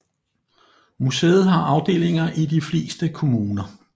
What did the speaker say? Museet har afdelinger i de fleste kommuner